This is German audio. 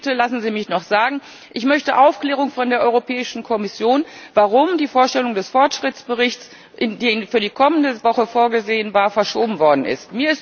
Eines lassen Sie mich bitte noch sagen Ich möchte Aufklärung von der Europäischen Kommission, warum die Vorstellung des Fortschrittsberichts, die für die kommende Woche vorgesehen war, verschoben worden ist.